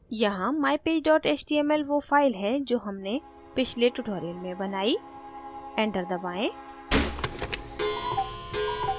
यहाँ mypage html वो file है जो हमने पिछले tutorial में बनाई enter दबाएँ